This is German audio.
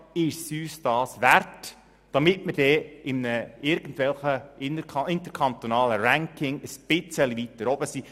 Ist es uns das wert, damit wir dann in irgendwelchen interkantonalen Rankings ein bisschen weiter oben stehen?